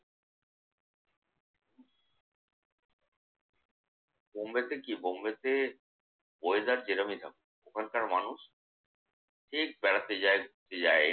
বম্বেতে কি? বম্বেতে weather যেরকমই থাকুক ওখানকার মানুষ ঠিক বেড়াতে যায়, ঘুরতে যায়।